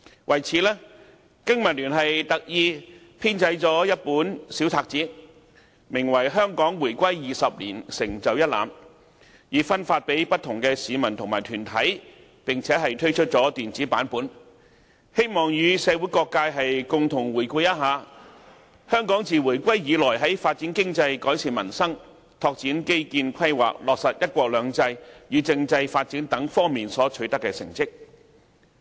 為此，經民聯特意編製了一本小冊子，名為《香港回歸20年成就一覽》，分發給不同的市民和團體，並推出電子版本，希望與社會各界共同回顧香港自回歸以來在發展經濟、改善民生、拓展基建規劃、落實"一國兩制"與政制發展等方面所取得的成績。